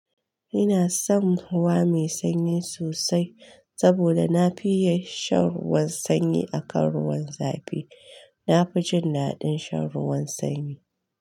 Ina son ruwa mai sanyi sosai saboda na fiye shan ruwan sanyi akan ruwan zafi. Na fi jin daɗin shan ruwan sanyi.